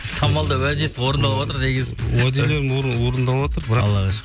самал да уәдесі орындалватыр дегенсің уәделерім орындалватыр